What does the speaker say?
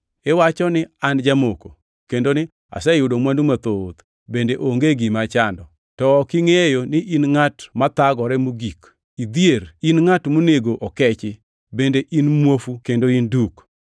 Iwacho ni, ‘An jamoko; kendo ni aseyudo mwandu mathoth bende onge gima achando.’ To ok ingʼeyo ni in ngʼat mathagore mogik; idhier, in ngʼat monego okechi; bende in muofu kendo in duk.